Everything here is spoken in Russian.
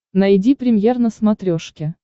найди премьер на смотрешке